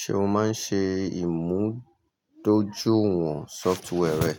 Ṣé o máa ń ṣe ìmúdójúìwọ̀n sọfituwwẹ́rì rẹ?